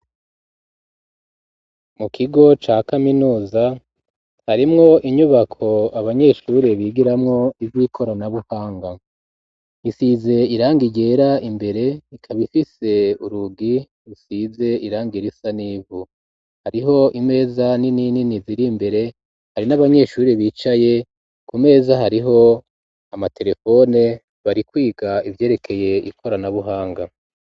Mu kigo ca kaminuza harimwo inyubako abanyeshure bigiramwo ivy'ikoranabuhanga. Isize irangi ryera imbere, ikaba ifise urugi rusize irangi risa n'ivu. Hariho imeza nini nini ziri imbere, hari n'abanyeshure bicaye ku meza hariko amaterefone, bari kwiga ivyerekeye ikoranabuhanga.